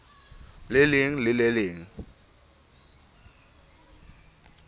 le leng le le leng